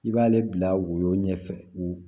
I b'ale bila woyo ɲɛfɛ